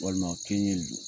Walima a kɛ ɲɛ